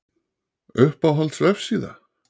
Uppáhalds vefsíða:???